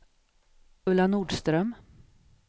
Ulla Nordström